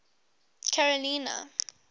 carolina